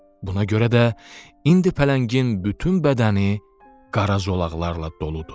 Buna görə də indi pələngin bütün bədəni qara zolaqlarla doludur.